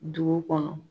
Dugu kɔnɔ